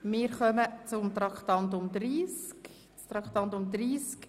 Wir kommen zu Traktandum 30.